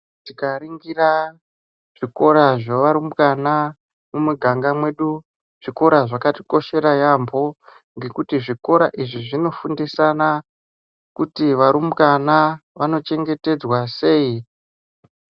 Tikaringira zvikora zvevarumbwana mumiganga mwedu zvikora zvakatikoshera yaamho ngekuti zvikora izvi zvinofundisana kuti varumbwana vanochengetedzwa sei.